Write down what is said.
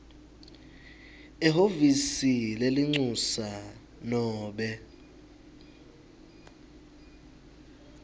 ehhovisi lelincusa nobe